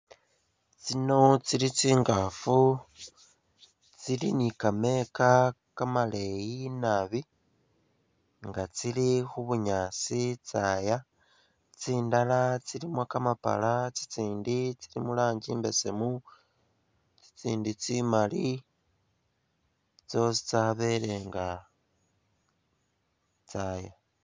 Tsino tsili tsingafu nga tsili ni'kameka kamaleyi naabi nga tsili khubunyasi tsaaya tsindala tsilimo kamapala tsitsindi tsili murangi imbesemu, tsitsindi tsimaali, tsosi tsabelenga tsaaya